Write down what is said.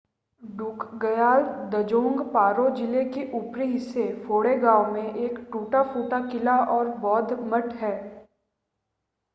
ड्रुकग्याल द्ज़ोंग पारो ज़िले के ऊपरी हिस्से फोंडे गाँव में में एक टूटा-फूटा किला और बौद्ध मठ है